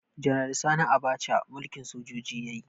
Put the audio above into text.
Janar Sani Abacha mulkin sojoji yayi